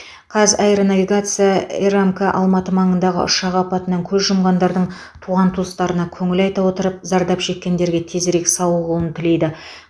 қазаэронавигация рмк алматы маңындағы ұшақ апатынан көз жұмғандардың туған туыстарына көңіл айта отырып зардап шеккендерге тезірек сауығуын тілейді